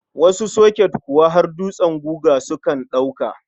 Wasu soket kuwa har dutsen guga sukan ɗauka.